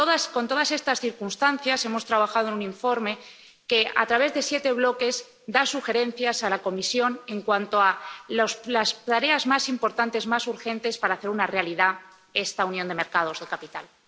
Con todas estas circunstancias, hemos trabajado en un informe que, a través de siete bloques, da sugerencias a la Comisión en cuanto a las tareas más importantes, más urgentes, para hacer realidad esta unión de los mercados de capitales.